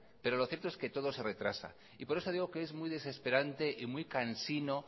pero lo cierto que todo se retrasa y por eso digo que es muy desesperante y muy cansino